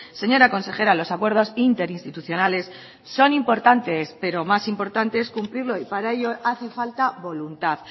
señora consejera los acuerdos interinstitucionales son importantes pero más importante es cumplirlo y para ello hace falta voluntad